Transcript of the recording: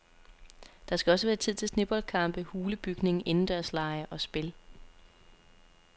Der skal også være tid til sneboldkampe, hulebygning, indendørslege og spil.